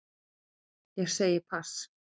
Ég segi pass.